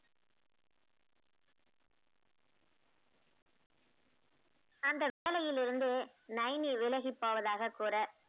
அந்த வேலையிலிருந்து நைனி விலகிப் போவதாகக் கூற